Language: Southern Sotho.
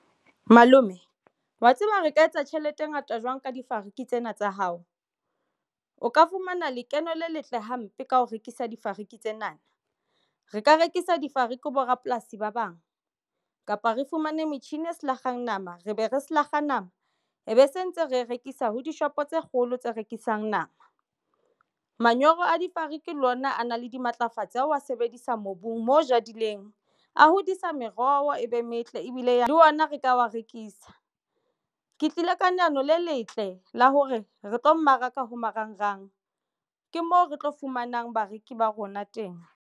Malome wa tseba ke ka etsa tjhelete e ngata jwang ka difariki tsena tsa hao? O ka fumana lekeno le letle hampe. Ka ho rekisa difariki tsena na re ka rekisa difariki bo rapolasi ba bang kapa re fumane metjhini e selakgeng nama re be re selakga nama e be se ntse re rekisa ho dishopo tse kgolo tse rekisang nama. Manyoro a difariki le ona a na le dimatlafatsi ao a sebedisa mobung mo jadileng a hodisa meroho e be metle ebile ya le ona re ka wa rekisa ke tlile ka leano le letle la hore re tlo mmaraka ho marangrang ke moo re tlo fumanang bareki ba rona teng.